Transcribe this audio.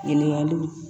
Ɲininkaliw